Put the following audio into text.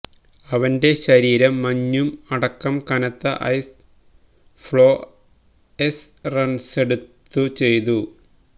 അവന്റെ ശരീരം മഞ്ഞും അടക്കം കനത്ത ഐസ് ഫ്ലൊഎസ് റൺസെടുത്തു ചെയ്തു